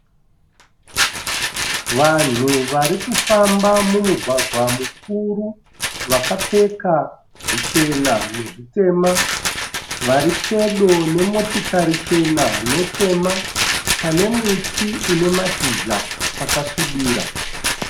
Vanhu vari kufamba mumugwagwa mukuru vakapfeka zvichena nezvitema. Vari pedo nemotikari chena netema pane muti une mashizha akasvibira.